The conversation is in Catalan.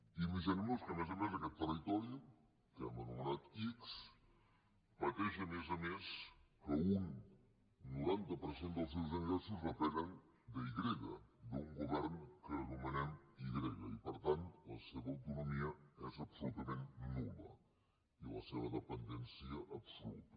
imaginem nos que a més a més aquest territori que hem anomenat ics pateix a més a més que un noranta per cent dels seus ingressos depenen de i grega d’un govern que anomenem i grega i per tant la seva autonomia és absolutament nul·la i la seva dependència absoluta